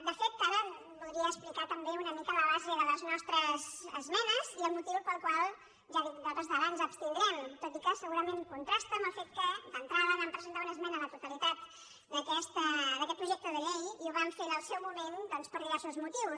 de fet ara voldria explicar també una mica la base de les nostres esmenes i el motiu pel qual ja ho dic a hores d’ara ens abstindrem tot i que segurament contrasta amb el fet que d’entrada vam presentar una esmena a la totalitat d’aquest projecte de llei i ho vam fer en el seu moment doncs per diversos motius